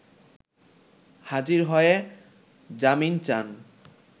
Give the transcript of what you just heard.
হাজির হয়ে জামিন চান